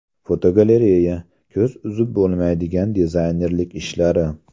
Fotogalereya: Ko‘z uzib bo‘lmaydigan dizaynerlik ishlari.